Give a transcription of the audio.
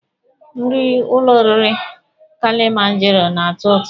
Nri ụlọ oriri Kilimanjaro na-atọ ụtọ.